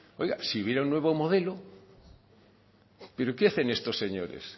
oiga si hubiera un nuevo modelo pero qué hacen estos señores